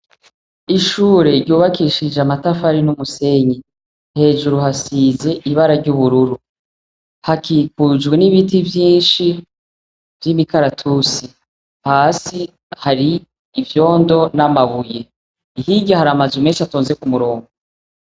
Ishure ryubakishije amatafari n'umusenyi ,hejuru hasize ibara ry'ubururu, hakikujwe n'ibiti vyinshi vy'imikaratusi, hasi hari ivyondo n'amabuye, hirya har'amazu menshi atonze k'umurongo.